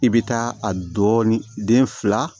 I bɛ taa a dɔɔni fila